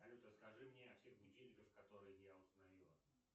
салют расскажи мне о всех будильниках которые я установила